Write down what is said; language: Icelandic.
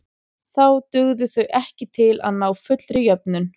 Þá dugðu þau ekki til að ná fullri jöfnun.